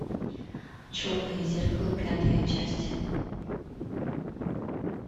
черное зеркало пятая часть